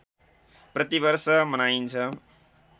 प्रति वर्ष मनाइन्छ